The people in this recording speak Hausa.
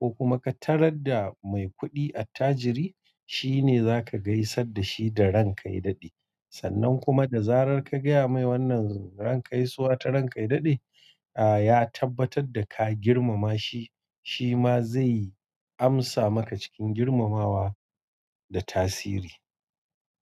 ko kuma ka tar da mai kuɗi attajiri, shi ne za ka gaisa da shi da "ran kaidadi". Sannan kuma da zarar ka gaya mai wannan ran gaisuwa ta "ran kaidadi", a ya tabbatar da ka girmama shi, shi ma zai amsa maka cikin girmamawa da tasiri.